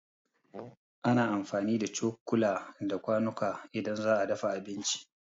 Ana amfani da cokula da kwanuka idan za'a dafa abinci